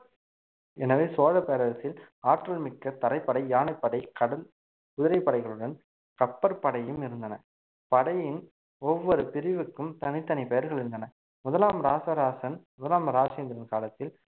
எனவே சோழப் பேரரசில் ஆற்றல் மிக்க தரைப்படை யானைப்படை கடல் குதிரைப் படைகளுடன் கப்பற்படையும் இருந்தன படையின் ஒவ்வொரு பிரிவுக்கும் தனித்தனி பெயர்கள் இருந்தன முதலாம் ராசராசன் முதலாம் ராஜேந்திரன் காலத்தில்